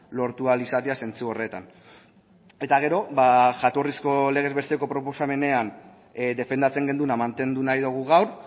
lortu ahal izatea zentzu horretan eta gero ba jatorrizko legez besteko proposamenean defendatzen genuena mantendu nahi dugu gaur